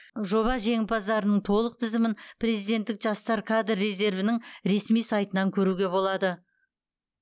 жоба жеңімпаздарының толық тізімін президенттік жастар кадр резервінің ресми сайтынан көруге болады